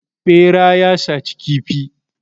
Ɓera ya saci kifi.